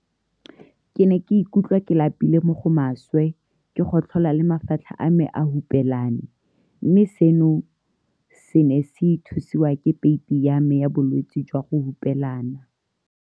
Ke ne ke ikutlwa ke lapile mo go maswe, ke gotlhola le mafatlha a me a hupelane, mme seno se ne se thusiwa ke peipi ya me ya bolwetse jwa go hupelana.